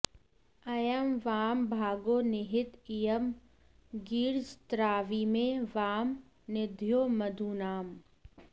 अयं वां भागो निहित इयं गीर्दस्राविमे वां निधयो मधूनाम्